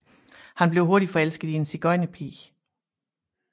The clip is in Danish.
Han bliver hurtigt forelsker i en sigøjnerpige